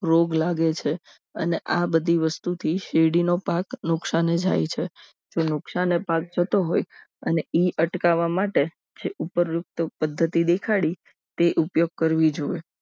રોગ લાગે છે અને આ બધી વસ્તુથી શેરડીનો પાક નુકસાને જાય છે જો નુકસાન ભાગ થતો હોય અને એ અટકાવવા માટે છે ઉપરોકત પદ્ધતિ દેખાડી તે ઉપયોગ કરવી જોઈએ